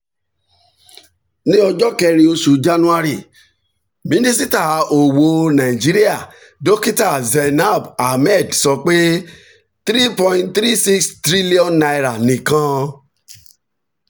ní ọjọ́ kẹrin oṣù january minisita owó nàìjíríà dokita zainab ahmed sọ pé n three point three six trillion nìkan